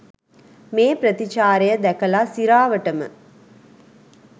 මේ ප්‍රතිචාරය දැකලා සිරාවටම.